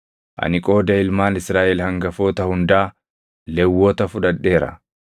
Ani qooda ilmaan Israaʼel hangafoota hundaa Lewwota fudhadheera.